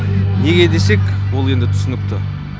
неге десек ол енді түсінікті